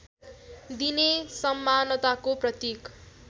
दिने समानताको प्रतीक